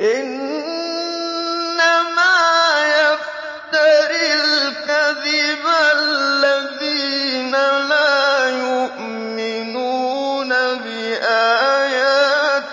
إِنَّمَا يَفْتَرِي الْكَذِبَ الَّذِينَ لَا يُؤْمِنُونَ بِآيَاتِ